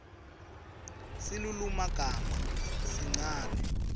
silulumagama sincane